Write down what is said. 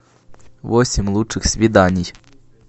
восемь лучших свиданий